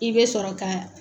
I bɛ sɔrɔ ka.